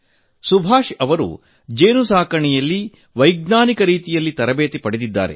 ಸುಭಾಷ್ ಜಿ ಅವರು ಜೇನುಸಾಕಣೆಯಲ್ಲಿ ವೈಜ್ಞಾನಿಕ ರೀತಿಯಲ್ಲಿ ತರಬೇತಿ ಪಡೆದವರು